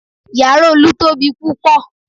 Yàrá Olu tóbi púpọ̀